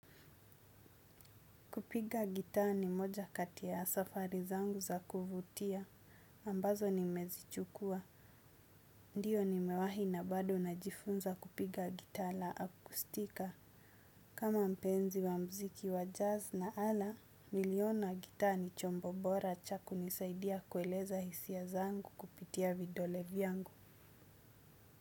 Kupiga gitaa ni moja katia ya safari zangu za kuvutia, ambazo nimezichukua. Ndiyo, nimewahi na bado najifunza kupiga gitaa la akustika. Kama mpenzi wa muziki wa jazz na ala, niliona gitaa ni chombo bora cha kunisaidia kueleza hisia zangu kupitia vidole vyangu.